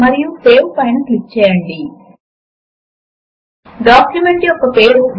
మరియు కుడి వైపు కదులుతూ ఉన్న ఎలిమెంట్స్ విండో మూడవది